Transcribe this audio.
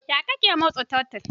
Yaya kake matsa tottle?